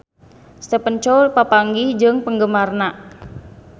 Stephen Chow papanggih jeung penggemarna